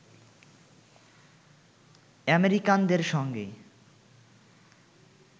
আমেরিকানদের সঙ্গে